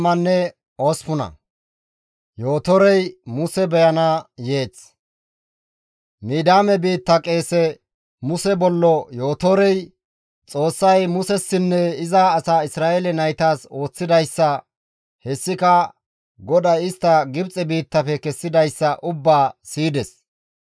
Midiyaame biitta qeese, Muse bollo Yootorey, Xoossay Musessinne iza asaa Isra7eele naytas ooththidayssa hessika GODAY istta Gibxe biittafe kessidayssa ubbaa siyides.